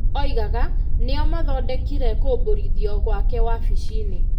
oigaga, nĩo mathondekire kũmbũrithio gwake wabici-inĩ.